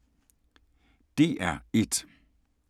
DR1